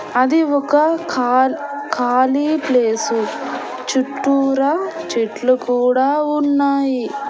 అది ఒక ఖార్ ఖాళీ ప్లేసు చుట్టూరా చెట్లు కూడా ఉన్నాయి.